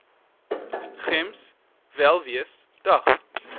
gems welwees dag